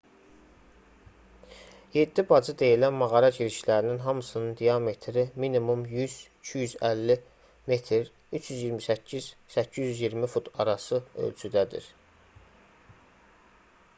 "yeddi bacı deyilən mağara girişlərinin hamısının diametri minimum 100-250 metr 328-820 fut arası ölçüdədir